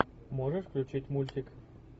можешь включить мультик